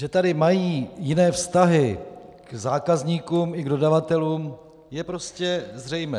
Že tady mají jiné vztahy k zákazníkům i k dodavatelům, je prostě zřejmé.